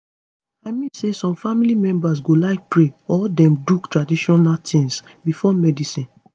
i mean say some family members go like pray or dem do traditional tings before medicine